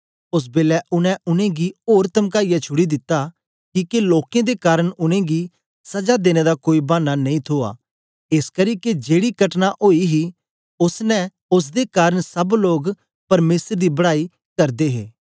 ओस बेलै उनै उनेंगी ओर तमकाईयै छुड़ी दिता किके लोकें दे कारन उनेंगी सजा देने दा कोई बानां नेई थुआ एसकरी के जेड़ी कटना ओई ही ओसदे कारन सब लोग परमेसर दी बड़ाई करदे हे